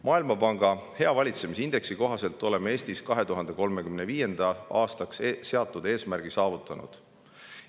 Maailmapanga hea valitsemise indeksi kohaselt oleme Eestis 2035. aastaks seatud eesmärgi saavutanud.